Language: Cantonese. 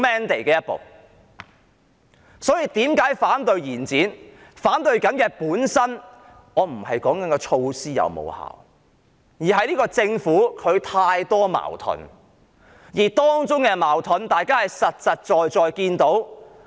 我之所以反對延展，本身並非關乎措施的成效，而是由於政府存在太多矛盾，大家有目共睹。